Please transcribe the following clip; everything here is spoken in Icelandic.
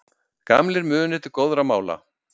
Gamlir munir til góðra mála